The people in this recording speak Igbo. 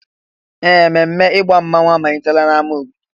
Ee! Ememe ịgba mmanwụ amalitela n'ámá obodo.